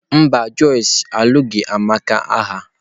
Mba, Josh alụghị Amaka agha